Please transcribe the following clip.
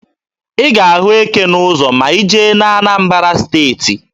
Ị ga-ahụ eke n'ụzọ ma ị jee na Anambara Steeti.